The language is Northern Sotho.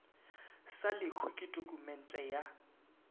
sa lehu ke tokumente ya